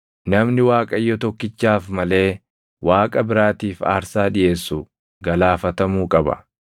“Namni Waaqayyo tokkichaaf malee Waaqa biraatiif aarsaa dhiʼeessu galaafatamuu qaba.